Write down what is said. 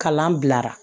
Kalan bilara